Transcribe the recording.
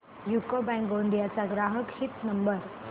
UCO bank Gondia चा ग्राहक हित नंबर